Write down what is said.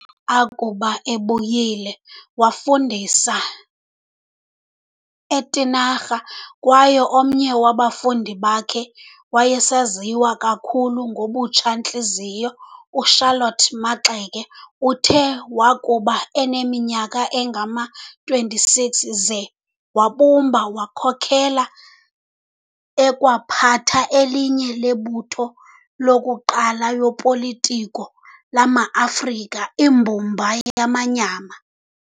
Uthe akube ebuyile wafudisa eTinarha kwaye omnye wabafundi bakhe wayesaziwa kakhulu ngobutsha-ntliziyo u"Charlotte Maxeke". Uthe wakuba neminyaka engama-26 ze wabumba, wakhokela ekwaphatha elinye lemibutho yokuqala yopolitiko lama-Afrika, Imbumba Yamanyama.